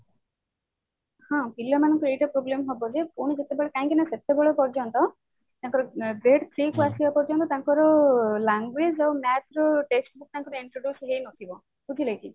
ହଁ ପିଲା ମାନଙ୍କୁ ଏଇଟା problem ହବ ଯେ ପୁଣି ଯେତେବେଳେ କାହିଁକି ନା ସେତେବେଳ ପର୍ଯ୍ୟନ୍ତ ତାଙ୍କର ତାଙ୍କର language ଆଉ math ର test ଟା ତାଙ୍କର introduce ହେଇ ନଥିବ ବୁଝିଲେ କି